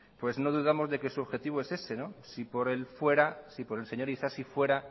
no dudamos de que su objetivo es ese si por el señor isasi fuera